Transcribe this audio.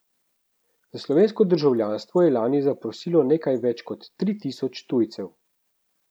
Za slovensko državljanstvo je lani zaprosilo nekaj več kot tri tisoč tujcev.